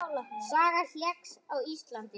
Saga hekls á Íslandi